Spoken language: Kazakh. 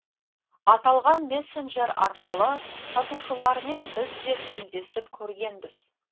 аталған мессенджер арқылы сатушылармен біз де тілдесіп көргенбіз